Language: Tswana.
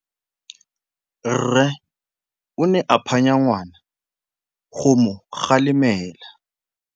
Rre o ne a phanya ngwana go mo galemela.